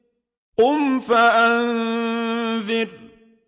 قُمْ فَأَنذِرْ